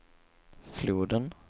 floden